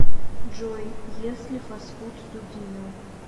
джой ест ли фастфуд дудина